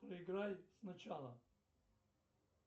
проиграй сначала